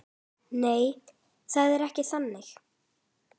Nei, það er ekki þannig.